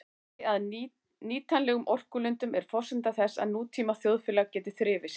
Aðgengi að nýtanlegum orkulindum er forsenda þess að nútíma þjóðfélag geti þrifist.